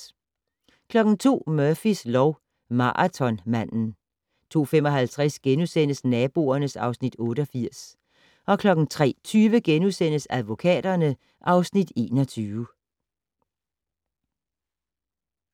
02:00: Murphys lov: Maratonmanden 02:55: Naboerne (Afs. 88)* 03:20: Advokaterne (Afs. 21)*